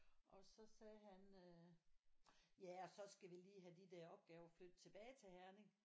Og så sagde han øh ja og så skal vi lige have de der opgaver flyttet tilbage til Herning